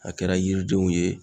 A kɛra yiridenw ye